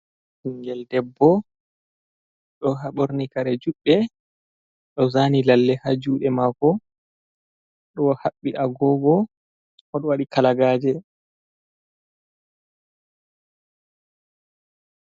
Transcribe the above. Ɓingel debbo ɗo havborni kare juɗde, ɗo zani lalle ha juɗe mako, ɗo habbit agogo o ɗo waɗi kalagaje.